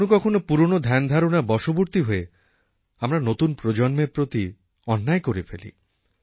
কখনও কখনও পুরনো ধ্যানধারণার বশবর্তী হয় আমরা নতুন প্রজন্মের প্রতি অন্যায় করে ফেলি